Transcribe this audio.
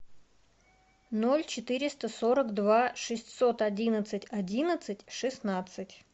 ноль четыреста сорок два шестьсот одиннадцать одиннадцать шестнадцать